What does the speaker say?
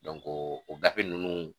o gafe ninnu